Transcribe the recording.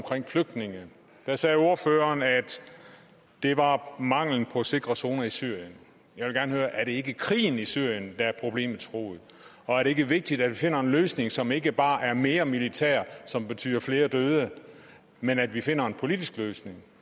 flygtninge der sagde ordføreren at det var mangelen på sikre zoner i syrien jeg vil gerne høre er det ikke krigen i syrien der er problemets rod og er det ikke vigtigt at vi finder en løsning som ikke bare er mere militær som betyder flere døde men at vi finder en politisk løsning